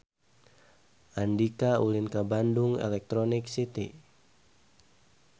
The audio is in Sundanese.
Andika ulin ka Bandung Electronic City